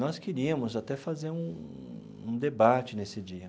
Nós queríamos até fazer um um debate nesse dia.